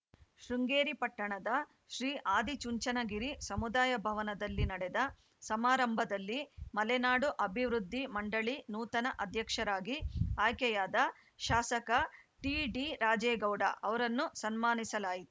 ಶೃಂಗೇರಿ ಪಟ್ಟಣದ ಶ್ರೀ ಆದಿಚುಂಚನಗಿರಿ ಸಮುದಾಯ ಭವನದಲ್ಲಿ ನಡೆದ ಸಮಾರಂಭದಲ್ಲಿ ಮಲೆನಾಡು ಅಭಿವೃದ್ಧಿ ಮಂಡಳಿ ನೂತನ ಅಧ್ಯಕ್ಷರಾಗಿ ಆಯ್ಕೆಯಾದ ಶಾಸಕ ಟಿಡಿ ರಾಜೇಗೌಡ ಅವರನ್ನು ಸನ್ಮಾನಿಸಲಾಯಿ